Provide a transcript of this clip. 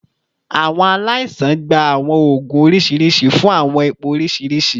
Awọn alaisan gba awọn oogun oriṣiriṣi fun awọn ipo oriṣiriṣi